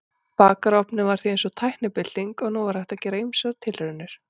Bakarofninn var því eins og tæknibylting og nú var hægt að gera ýmsar tilraunir.